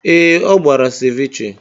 Ee, ọ gbara Cevechee.